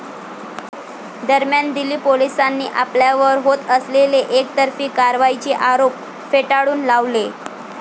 दरम्यान, दिल्ली पोलिसांनी आपल्यावर होत असलेले एकतर्फी कारवाईचे आरोप फेटाळून लावले.